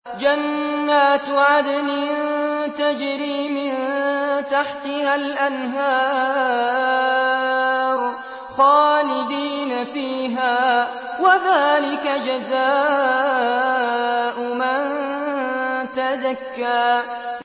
جَنَّاتُ عَدْنٍ تَجْرِي مِن تَحْتِهَا الْأَنْهَارُ خَالِدِينَ فِيهَا ۚ وَذَٰلِكَ جَزَاءُ مَن تَزَكَّىٰ